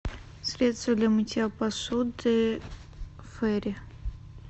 средство для мытья посуды фейри